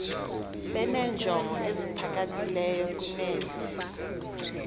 benenjongo eziphakamileyo kunezi